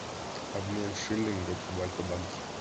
обмен шиллингов в альфа банке